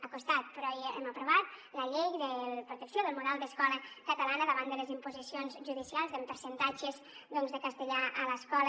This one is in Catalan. ha costat però hem aprovat la llei de la protecció del model d’escola catalana davant de les imposicions judicials amb percentatges de castellà a l’escola